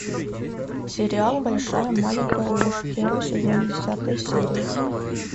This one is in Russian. сериал большая маленькая ложь первый сезон десятая серия